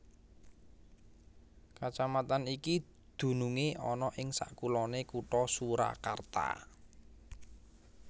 Kacamatan iki dunungé ana ing sakuloné Kutha Surakarta